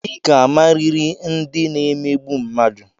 I ga-amariri ndị na-emegbu mmadụ!